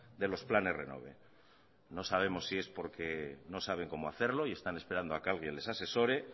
de los planes renove no sabemos si es porque no saben cómo hacerlo y están esperando a que alguien les asesore